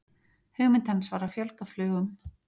hugmynd hans var að fjölga flugum